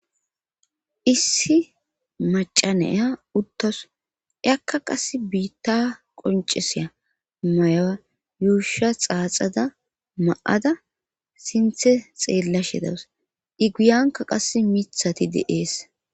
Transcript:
issi macanaya uttos ekka qas biitta qonceseya mayaa yuusha xaaxada ma7ada sinthe xeella shedawus i guyanka qas mithati de7ees